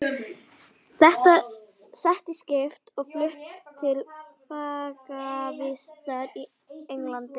Sett í skip og flutt til fangavistar í Englandi!